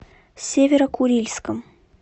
северо курильском